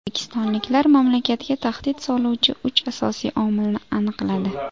O‘zbekistonliklar mamlakatga tahdid soluvchi uch asosiy omilni aniqladi.